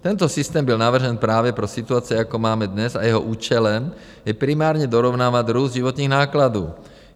Tento systém byl navržen právě pro situace, jako máme dnes, a jeho účelem je primárně dorovnávat růst životních nákladů.